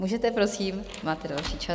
Můžete, prosím, máte další čas.